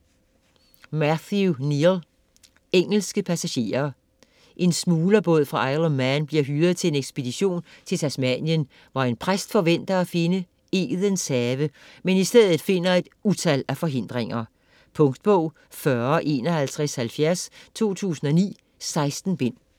Kneale, Matthew: Engelske passagerer En smuglerbåd fra Isle of Man bliver hyret til en ekspedition til Tasmanien, hvor en præst forventer at finde Edens Have, men i stedet finder et utal af forhindringer. Punktbog 405170 2009. 16 bind.